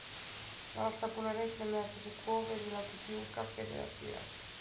Var alltaf búinn að reikna með að þessi kofi yrði látinn fjúka fyrr eða síðar.